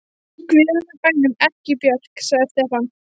Í guðanna bænum ekki Björk, sagði Stefán.